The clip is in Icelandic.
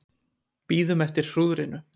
Bíðum eftir hrúðrinu